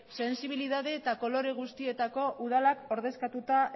sensibilidade eta kolore guztietako udalak ordezkatuta